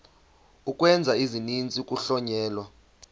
ukwenza isininzi kuhlonyelwa